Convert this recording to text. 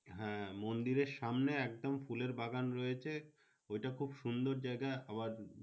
হ্যাঁ মন্দিরের সামনে একদম ফুলের বাগান রয়েছে। ওইটা খুব সুন্দর জায়গা। আবার